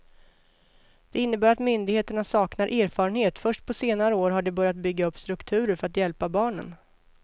Det innebär att myndigheterna saknar erfarenhet, först på senare år har de börjat bygga upp strukturer för att hjälpa barnen.